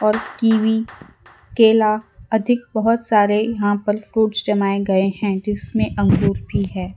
और कीवी केला अधिक बहोत सारे यहां फल फ्रूट जमा गए है जिसमें अंगूर भी है।